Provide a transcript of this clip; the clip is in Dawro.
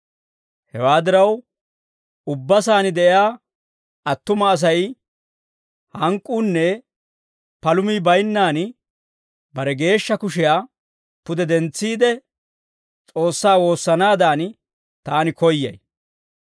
Hewaa diraw, ubba saan de'iyaa attuma Asay hank'k'uunne palumii baynnaan, bare geeshsha kushiyaa pude dentsiide, S'oossaa woossanaadan, taani koyyay.